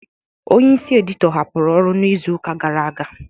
Onye isi edito hapụrụ ọrụ n'izuka gara aga